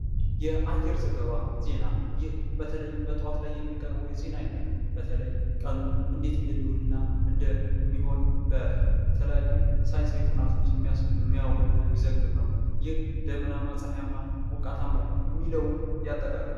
የአየር ዘገባ ዜና ይህ በተለይም በጠዋት ላይ የሚቀርቡ የዚህን ዓይነት በተለይ ቀኑን እንዴት እንደሚውል እና እንደ ሚሆን በተለያዩ ሳይንሳዊ ጥናቶች የሚያውልና የሚዘግብ ነው ። ያህ ደመናማ፤ ጸሃያም ፣ ዝናባም ፣ሞቃታማ የሚለውን ያጠቃልላል።